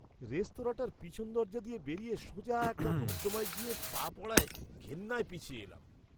রেস্তোরাঁটার পেছনের দরজা দিয়ে বেরিয়ে সোজা একটা নর্দমায় গিয়ে পা পড়ায় ঘেন্নায় পিছিয়ে এলাম।